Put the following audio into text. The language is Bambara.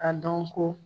A dɔn ko